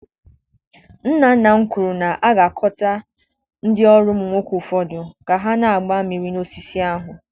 Nna nna m kwuru na a ga-akọta ndị ọrụ ụmụ nwoke ụfọdụ ka ha na-agba miri na osisi ahụ.